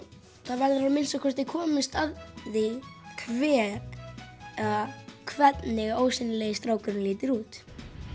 verður að minnsta kosti komist að því hver eða hvernig ósýnilegi strákurinn lítur út